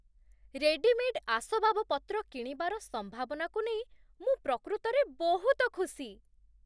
Readymade ଆସବାବପତ୍ର କିଣିବାର ସମ୍ଭାବନାକୁ ନେଇ ମୁଁ ପ୍ରକୃତରେ ବହୁତ ଖୁସି।